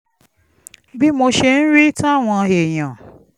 bí mo ṣe ń rí i táwọn èèyàn